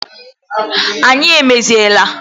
Anyị emeziela